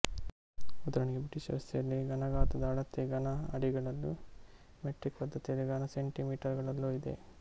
ಉದಾಹರಣೆಗೆ ಬ್ರಿಟಿಷ್ ವ್ಯವಸ್ಥೆಯಲ್ಲಿ ಘನಗಾತ್ರದ ಅಳತೆ ಘನ ಅಡಿಗಳಲ್ಲೂ ಮೆಟ್ರಿಕ್ ಪದ್ಧತಿಯಲ್ಲಿ ಘನಸೆಂಟಿಮೀಟರುಗಳಲ್ಲೂ ಇದೆ